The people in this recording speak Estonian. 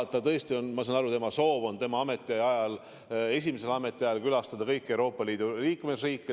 Ma saan aru, et tema soov on esimesel ametiajal külastada kõiki Euroopa Liidu riike.